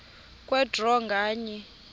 kwe draw nganye